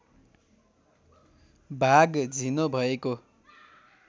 भाग झिनो भएको